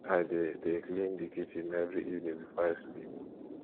i dey dey clean di kitchen every evening before i sleep